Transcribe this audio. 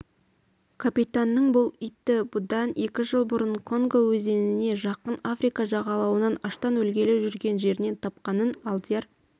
капитанның бұл иті бұдан екі жыл бұрын конго өзеніне жақын африка жағалауынан аштан өлгелі жүрген жерінен тапқанын алдияр